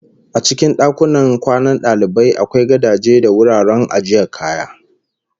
A cikin dakunan kwanan dalibai akwai gadaje da wuraren ajiyar kaya